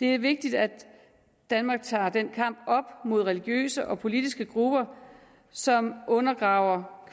det er vigtigt at danmark tager den kamp op mod religiøse og politiske grupper som undergraver